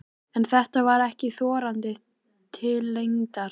En þetta var ekki þorandi til lengdar.